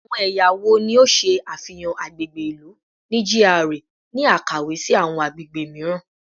Awọn ẹya wo ni o ṣe afihan agbegbe ilu ni GRA ni akawe si awọn agbegbe miiran?